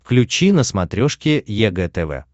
включи на смотрешке егэ тв